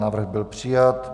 Návrh byl přijat.